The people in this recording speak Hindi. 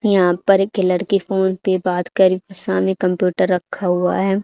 यहां पर एक लड़की फोन पे बात करी सामने कंप्यूटर रखा हुआ है।